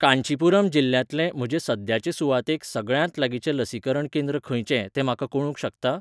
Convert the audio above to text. कांचीपुरम जिल्ल्यांतले म्हजे सद्याचे सुवातेक सगळ्यांत लागींचें लसीकरण केंद्र खंयचें तें म्हाका कळूंक शकता?